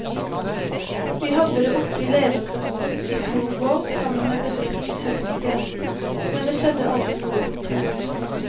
Vi hadde det oppe i ledergruppen i fjor vår, sammen med bedriftshelsetjenesten, men det skjedde aldri noe konkret.